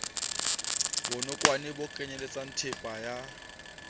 bonokwane bo kenyeletsang thepa ya